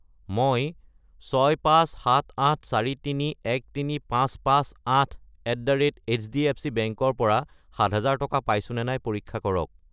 মই 65784313558@hdfcbank ৰ পৰা 7000 টকা পাইছোনে নাই পৰীক্ষা কৰক।